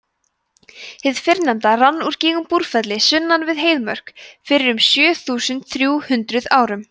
hið fyrrnefnda rann úr gígnum búrfelli sunnan við heiðmörk fyrir um sjö þúsund þrjú hundruð árum